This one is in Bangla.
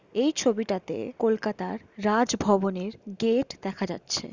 এই ছবিটাতে কোলকাতার রাজ ভবনের গেট দেখা যাচ্ছে।